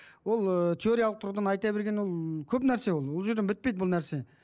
ол ыыы теориялық тұрғыдан айта берген ол көп нәрсе ол ол жерден бітпейді бұл нәрсе